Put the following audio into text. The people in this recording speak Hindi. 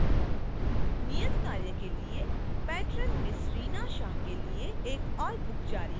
नियतकार्य के लिए patron ms reena shah के लिए एक ओर book जारी करें